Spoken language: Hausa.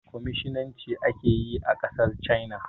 Kwaminisnci ake yi a ƙasar China